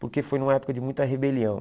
Porque foi numa época de muita rebelião.